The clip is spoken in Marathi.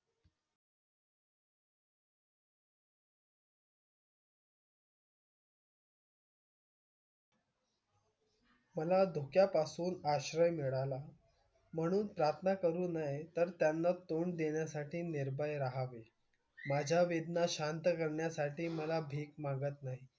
मला धोक्यापासून आश्रय मिळाला म्हणून प्रार्थना करू नये तर त्यांना तोंड देण्यासाठी निर्भय राहावे. माझ्या वेदना शांत करण्यासाठी मला भीक मागत नाही.